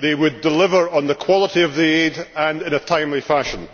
they would deliver on the quality of the aid and in a timely fashion.